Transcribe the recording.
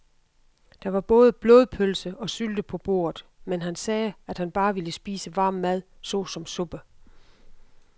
Der var både blodpølse og sylte på bordet, men han sagde, at han bare ville spise varm mad såsom suppe.